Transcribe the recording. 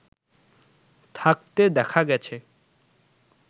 থাকতে দেখা গেছে